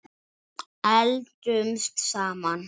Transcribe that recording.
Eldumst saman.